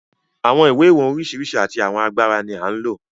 Àwọn ìwọ̀n ìwé oríṣiríṣi àti àwọn agbára ni à ń lò.